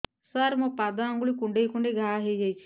ସାର ମୋ ପାଦ ଆଙ୍ଗୁଳି କୁଣ୍ଡେଇ କୁଣ୍ଡେଇ ଘା ହେଇଯାଇଛି